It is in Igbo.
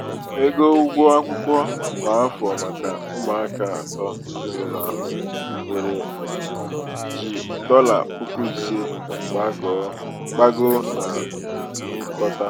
ego ụgwọ akwụkwọ kwa afọ maka ụmụaka atọ ezinaụlọ ahụ nwere ji dọla puku ise gbagoo na ngụkọta.